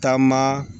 Taama